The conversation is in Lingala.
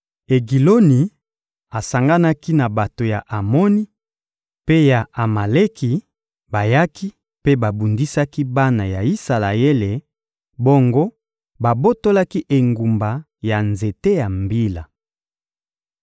Egiloni asanganaki na bato ya Amoni mpe ya Amaleki, bayaki mpe babundisaki bana ya Isalaele, bongo babotolaki engumba ya nzete ya Mbila.